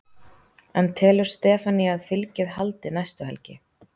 En telur Stefanía að fylgið haldi næstu helgi?